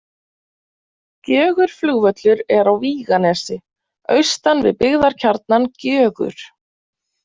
Gjögurflugvöllur er á Víganesi, austan við byggðarkjarnann Gjögur.